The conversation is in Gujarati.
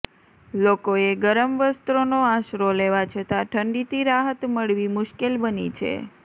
લોકોએ ગરમ વસ્ત્રોનો આશરો લેવા છતાં ઠંડીથી રાહત મળવી મુશ્કેલ બની છે